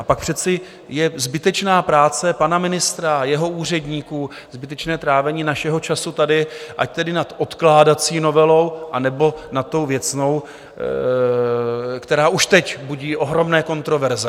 A pak přece je zbytečná práce pana ministra, jeho úředníků, zbytečné trávení našeho času tady, ať tedy nad odkládací novelou, anebo nad tou věcnou, která už teď budí ohromné kontroverze.